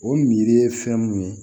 O miiri ye fɛn mun ye